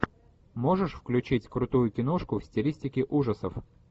можешь включить крутую киношку в стилистике ужасов